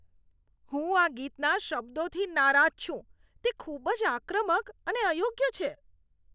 હું આ ગીતના શબ્દોથી નારાજ છું. તે ખૂબ જ આક્રમક અને અયોગ્ય છે.